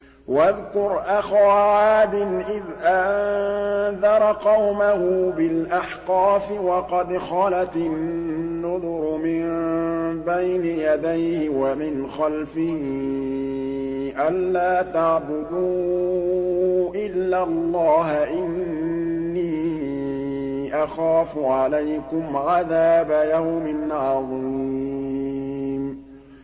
۞ وَاذْكُرْ أَخَا عَادٍ إِذْ أَنذَرَ قَوْمَهُ بِالْأَحْقَافِ وَقَدْ خَلَتِ النُّذُرُ مِن بَيْنِ يَدَيْهِ وَمِنْ خَلْفِهِ أَلَّا تَعْبُدُوا إِلَّا اللَّهَ إِنِّي أَخَافُ عَلَيْكُمْ عَذَابَ يَوْمٍ عَظِيمٍ